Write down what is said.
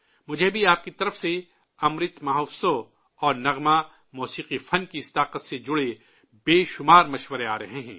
مجھے بھی آپ کی طرف سے امرت مہوتسو اور گیت موسیقی فن کی اس طاقت سے جڑے بہت سارے مشورے موصول ہو رہے ہیں